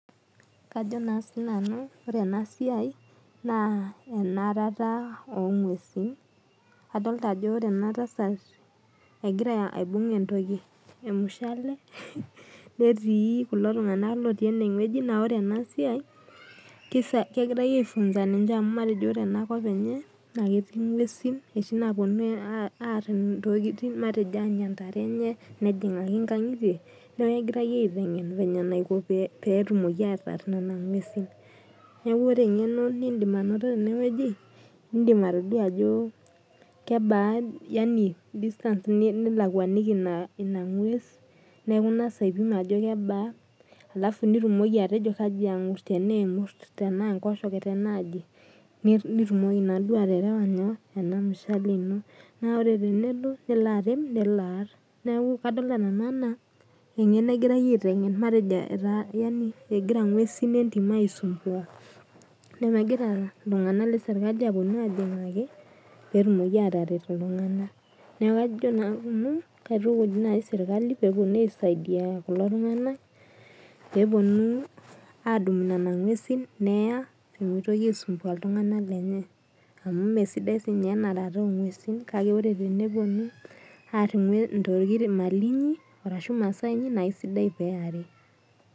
Kajo na sinanu orw enasia na enarata ongwesi adol ajo ore enasiai na kegirai aifunza ninche amu ore enakop enye na ketii ngwesi etii naponu anya ndarre enye neaku kegirai aliki eniko tenear kuna ngwesi neaku ore engeno nindim atayiolo tenewueji na kebaa distance nilakwaniki inangues nitumoki atejo tanaa kemurs ingor tanaa enkoshoke nitumoki naaduo aterewa nyoo enamushale neak egira ngwesi entim aisumbua neaku egira ltunganak leserkali peponu aisaidia kulo tunganak peponu adumu nona ngwesi neya amu mesidai enarata ongwesi kake eneponu aar imali inyi arashu masaa inyi na enare peari